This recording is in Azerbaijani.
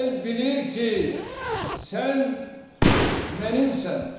El bilir ki, sən mənim sən.